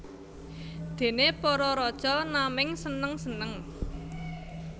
Déné para raja naming seneng seneng